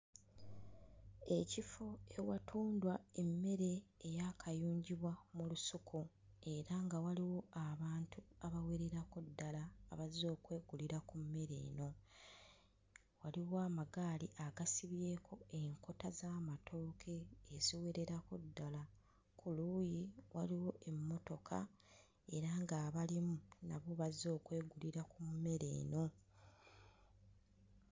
Ekifo ewatundwa emmere eyaakayunjibwa mu lusuku era nga waliwo abantu abawererako ddala abazze okwegulira ku mmere eno. Waliwo amagaali agasibyeko enkota z'amatooke eziwererako ddala, ku luuyi waliwo emmotoka era ng'abalimu nabo bazze okwegulira ku mmere eno.